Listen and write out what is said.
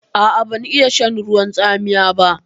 A'a, ban iya shan ruwan tsamiya ba.